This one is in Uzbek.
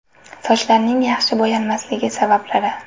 Sochlarning yaxshi bo‘yalmasligi sabablari.